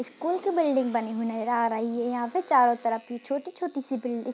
school की building बनी हुई नजर आ रही है यहां पे चारो तरफ ही छोटी-छोटी सी बिल्डि --